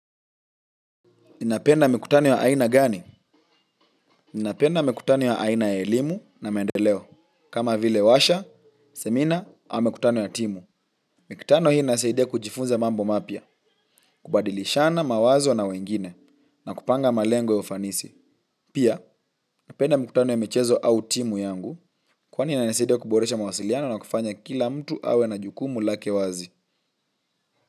Ninapenda mikutano ya aina gani? Ninapenda mikutano wa aina ya elimu na maendeleo. Kama vile warsha, semina, au mikutano ya timu. Mikutano hii insaidia kujifunza mambo mapya, kubadilishana, mawazo na wengine, na kupanga malengo ya ufanisi. Pia, napenda mikutano ya michezo au timu yangu, kwani inanisaidia kuboresha mawasiliano na kufanya kila mtu awe na jukumu lake wazi.